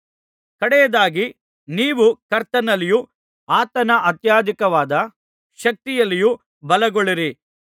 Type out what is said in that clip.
ಕಡೆಯದಾಗಿ ನೀವು ಕರ್ತನಲ್ಲಿಯೂ ಆತನ ಅತ್ಯಧಿಕವಾದ ಶಕ್ತಿಯಲ್ಲಿಯೂ ಬಲಗೊಳ್ಳಿರಿ